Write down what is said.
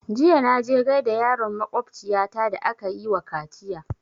Jiya na je gaida yaron makwabciya ta da aka yi wa kaciya